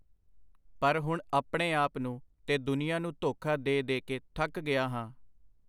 ਪਰ ਹੁਣ ਆਪਣੇ ਆਪ ਨੂੰ ਤੇ ਦੁਨੀਆਂ ਨੂੰ ਧੋਖਾ ਦੇ-ਦੇ ਕੇ ਥੱਕ ਗਿਆ ਹਾਂ.